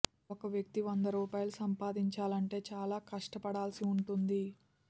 ఒక వ్యక్తి వంద రూపాయలు సంపాదించాలంటే చాలా కష్టపడాల్సి ఉంటుంది